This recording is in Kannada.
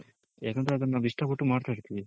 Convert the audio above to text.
ಹೆಂಗ್ ಅದ್ರು ನಾವ್ ಇಷ್ಟ ಪಟ್ಟು ಮಾಡ್ತಾ ಇರ್ತಿವಿ